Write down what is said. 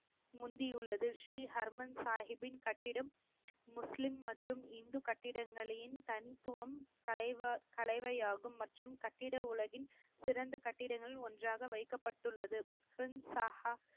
முந்தியுள்ளது ஸ்ரீஹர்மன் சாகிப்பின் கட்டிடம் முஸ்லீம் மற்றும் இந்து கட்டிடங்களின் தனித்துவம் கலவை கலவையாகும் மற்றும் கட்டிட உலகின் சிறந்த கட்டிடங்களில் ஒன்றாக வைக்கப்பட்டுள்ளது பிரின்ஸ் சாஹா